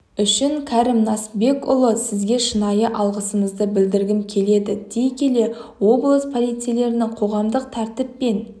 үшін кәрім насбекұлы сізге шынайы алғысымды білдіргім келеді дей келе облыс полицейлерінің қоғамдық тәртіп пен